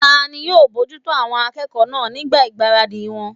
Tani yóò bojútó àwọn akẹ́kọ̀ọ́ náà nígbà ìgbáradì wọn?